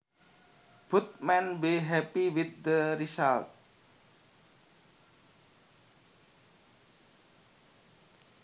Both men were happy with the results